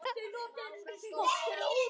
Þá rifnar aldan upp.